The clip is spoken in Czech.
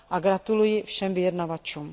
Gratuluji všem vyjednávačům.